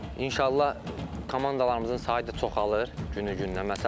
İnşallah komandalarımızın sayı da çoxalır günü-gündən.